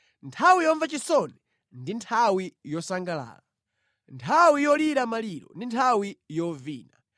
Nthawi yomva chisoni ndi nthawi yosangalala, nthawi yolira maliro ndi nthawi yovina.